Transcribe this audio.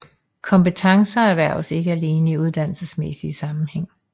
Kompetencer erhverves ikke alene i uddannelsesmæssig sammenhæng